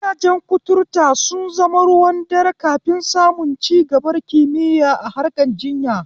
Gidajen kuturta sun zama ruwan dare kafin samun cigabar kimiya a harkan jinya.